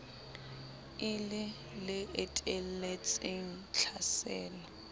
e le le etelletseng tlhaselo